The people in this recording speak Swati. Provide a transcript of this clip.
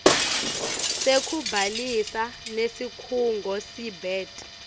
sekubhalisa nesikhungo seabet